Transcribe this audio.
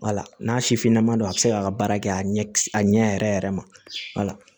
Wala n'a sifinnama don a bɛ se k'a ka baara kɛ a ɲɛ a ɲɛ yɛrɛ yɛrɛ ma wala